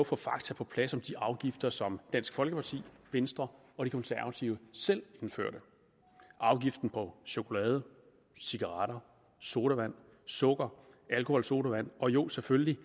få fakta på plads om de afgifter som dansk folkeparti venstre og de konservatives selv indførte afgiften på chokolade cigaretter sodavand sukker alkoholsodavand og jo selvfølgelig